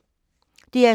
DR2